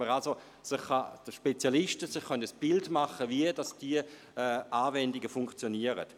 Spezialisten können sich somit ein Bild davon machen, wie diese Anwendungen funktionieren.